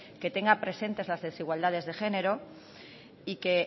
que tenga presentes las desigualdades de género y que